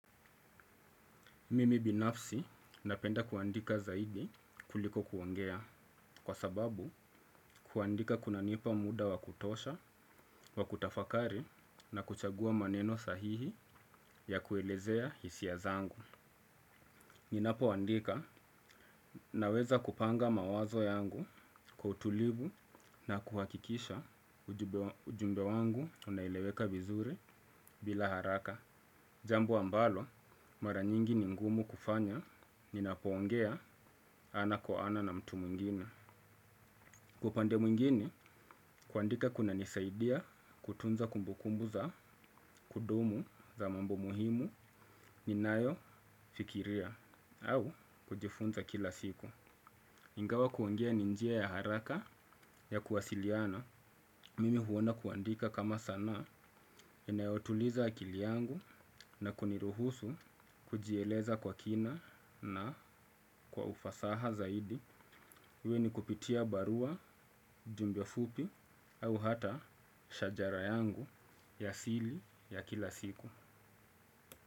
Mimi binafsi napenda kuandika zaidi kuliko kuongea kwa sababu kuandika kunanipa muda wa kutosha, wa kutafakari na kuchagua maneno sahihi ya kuelezea hisia zangu. Ninapoandika naweza kupanga mawazo yangu kwa utulivu na kuhakikisha ujumbe wangu unaeleweka vizuri bila haraka. Jambo ambalo mara nyingi ni ngumu kufanya ninapoongea ana kwa ana na mtu mwingine. Kwa upande mwingine kuandika kunanisaidia kutunza kumbukumbu za kudumu za mambo muhimu ninayofikiria au kujifunza kila siku. Ingawa kuongea ni njia ya haraka ya kuwasiliana, mimi huona kuandika kama sanaa, inayotuliza akili yangu na kuniruhusu kujieleza kwa kina na kwa ufasaha zaidi. Uwe ni kupitia barua, jumbe fupi, au hata shajara yangu yasili ya kila siku.